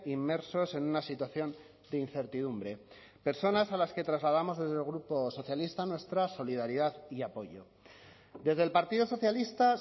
inmersos en una situación de incertidumbre personas a las que trasladamos desde el grupo socialista nuestra solidaridad y apoyo desde el partido socialista